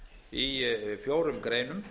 í fjórum greinum